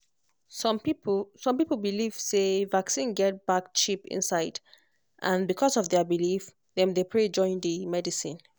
some people some people belief say vaccine get bad chip inside and because of their belief dem dey pray join the medicine.